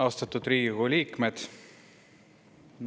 Austatud Riigikogu liikmed!